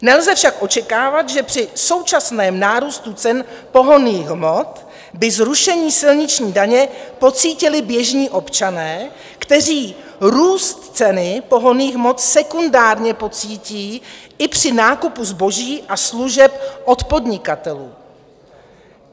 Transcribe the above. Nelze však očekávat, že při současném nárůstu cen pohonných hmot by zrušení silniční daně pocítili běžní občané, kteří růst ceny pohonných hmot sekundárně pocítí i při nákupu zboží a služeb od podnikatelů.